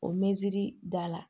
O mɛziri da la